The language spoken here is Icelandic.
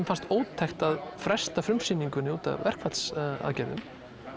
fannst ótækt að fresta frumsýningu út af verkfallsaðgerðum